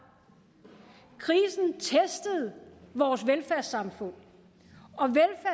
krisen testede vores velfærdssamfund